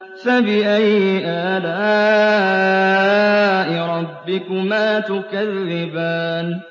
فَبِأَيِّ آلَاءِ رَبِّكُمَا تُكَذِّبَانِ